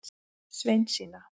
Sveinsína